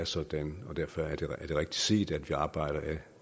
sådan og derfor er det rigtigt set at vi arbejder ad